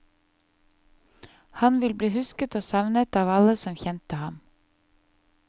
Han vil bli husket og savnet av alle som kjente ham.